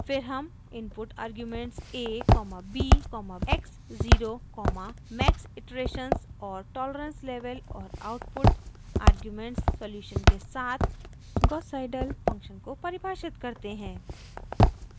फिर हम input arguments a comma b comma x zero comma max iterations और tolerance level और output argument solution के साथ gauss seidel फंक्शन को परिभाषित करते हैं